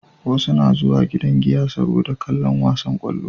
Wasu na zuwa gidan giya saboda kallon wasan kwallo